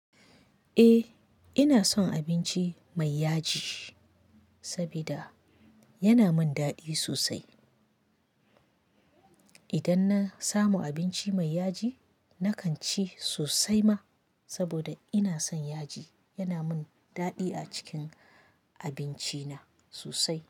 Eh, ina son abinci mai yaji sabida yana min daɗi sosai. Idan na samu abinci mai yaji, na kan ci sosai ma saboda ina son yaji. Yana min daɗi a cikin abinci na sosai.